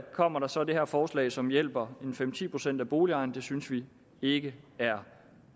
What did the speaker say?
kommer der så det her forslag som hjælper fem ti procent af boligejerne det synes vi ikke er